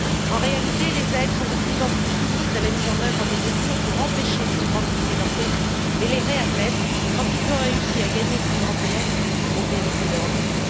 En réalité, les aides sont de plus en plus soumises à la mise en œuvre de mesures pour empêcher les migrants de quitter leur pays et les réadmettre quand ils ont réussi à gagner l'Union européenne au péril de leur vie.